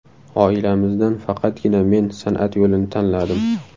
Oilamizdan faqatgina men san’at yo‘lini tanladim.